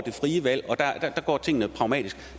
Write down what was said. det frie valg og der går tingene pragmatisk